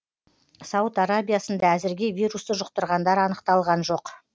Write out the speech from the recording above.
сауд арабиясында әзірге вирусты жұқтырғандар анықталған жоқ